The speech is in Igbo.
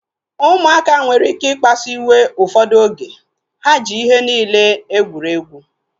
Ụmụaka nwere ike ikpasu iwe ụfọdụ oge. Ha ji ihe niile egwuregwu